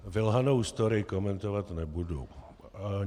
Vylhanou story komentovat nebudu.